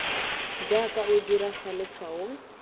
jaaka o dira fa letshwaong